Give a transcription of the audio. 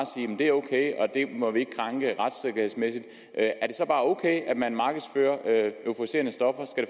det er ok og at det må vi ikke krænke retssikkerhedsmæssigt er det så bare ok at man markedsfører euforiserende stoffer